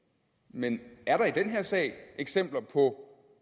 men er der i den her sag eksempler på